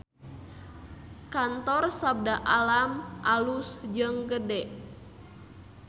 Kantor Sabda Alam alus jeung gede